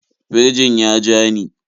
Firjin ya ja ni.